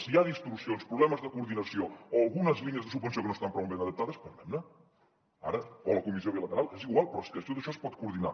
si hi ha distorsions problemes de coordinació o algunes línies de subvenció que no estan prou ben adaptades parlem ne ara o a la comissió bilateral és igual però és que tot això es pot coordinar